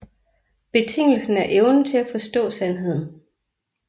Betingelsen er evnen til at forstå sandheden